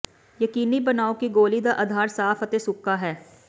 ਯਕੀਨੀ ਬਣਾਓ ਕਿ ਗੋਲੀ ਦਾ ਅਧਾਰ ਸਾਫ ਅਤੇ ਸੁੱਕਾ ਹੈ